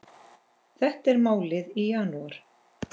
Þetta er málið í janúar.